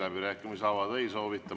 Läbirääkimisi avada ei soovita.